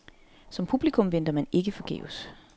Som publikum venter man ikke forgæves.